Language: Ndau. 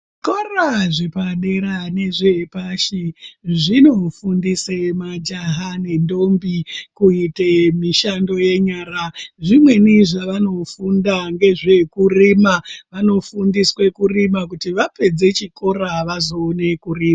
Zvikora zvepa dera nezve pashi zvino fundise majaha ne ndombi kuite mishando ye nyara zvimweni zvavano funda ngezve kurima vano fundiswe kurima kuti vapedze chikora vazo one kurima.